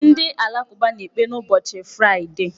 Ndị alakụba na-ekpe n'ụbọchị fraịdee.